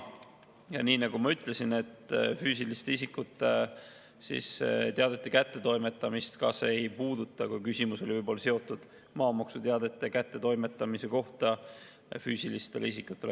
Ja nii nagu ma ütlesin, füüsiliste isikute teadete kättetoimetamist see ka ei puuduta, kui küsimus oli seotud maamaksuteadete kättetoimetamisega füüsilistele isikutele.